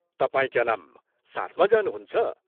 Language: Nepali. तपाईं क्या नाम साथमा जानुहुन्छ?